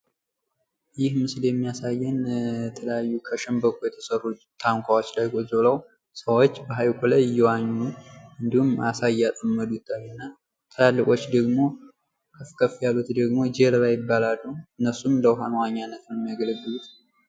ይህ ምስል የሚያሳየን ከተለያዩ ከሸንበቆ የተሰሩ ታንኳወች ላይ ቁጭ ብለው ሰወች በሀይቁ ላይ እየዋኙ እንዲሁም አሳ እያጠመዱ ነው። ትላልቆች ከፍ ከፍ ያሉት ደግሞ ጀልባ ይባላሉ። እነሱም ለዉሃ መዋኛነት ነው የሚያገለግሉት።